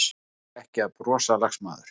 Þora ekki að brosa, lagsmaður.